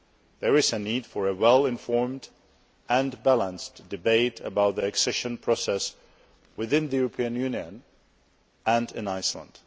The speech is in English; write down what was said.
There is a need for a well informed and balanced debate about the accession process within the European Union and in Iceland.